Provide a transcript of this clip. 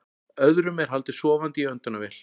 Öðrum er haldið sofandi í öndunarvél